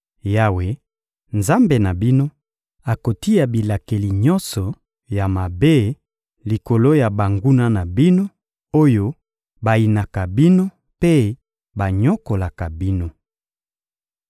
Yawe, Nzambe na bino, akotia bilakeli nyonso ya mabe likolo ya banguna na bino, oyo bayinaka bino mpe banyokolaka bino.